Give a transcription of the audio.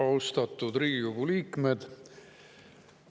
Austatud Riigikogu liikmed!